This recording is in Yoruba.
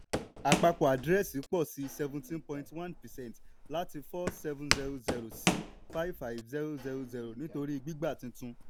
àpapọ àdírẹ́ẹ̀sì pọ̀ sí seventeen point one percent láti four seven zero zero sí five five zero zero nítorí gbígba tuntun.